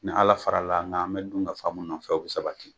Ni ala fara l' an kan an be dun ka fa min nɔfɛ o be sabati